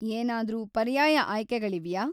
ಏನಾದ್ರೂ ಪರ್ಯಾಯ ಆಯ್ಕೆಗಳಿವ್ಯಾ?